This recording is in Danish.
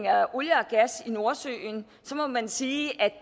af olie og gas i nordsøen må man sige at